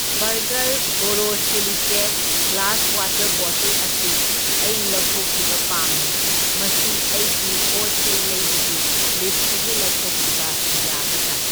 Burger borosilicate glass water bottle ꯑꯁꯤ ꯑꯩ ꯂꯧꯊꯣꯛꯈꯤꯕ ꯄꯥꯝꯃꯤ, ꯃꯁꯤ ꯑꯩꯒꯤ ꯄꯣꯠꯆꯩ ꯂꯩꯕꯒꯤ ꯂꯤꯁꯇꯒꯤ ꯂꯧꯊꯣꯛꯈꯤꯕ ꯌꯥꯒꯗ꯭ꯔꯥ?